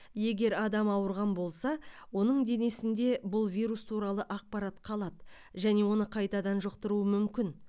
егер адам ауырған болса оның денесінде бұл вирус туралы ақпарат қалады және оны қайтадан жұқтыруы мүмкін